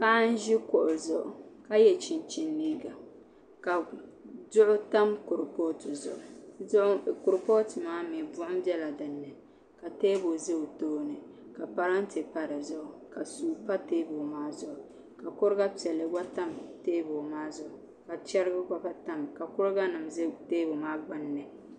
Paɣa n ʒi kuɣu zuɣu ka yɛ chinchin liiga ka duɣu tam kuripooti zuɣu kuripooti maa mii buɣum bɛla dinni ka teebuli ʒɛ o tooni ka parantɛ pa dinni ka suu tam teebuli maa zuɣu ka kuriga piɛlli gba tam teebuli maa zuɣu ka chɛrigi gba tamya ka kuriga nim ʒɛ teebuli maa gbunni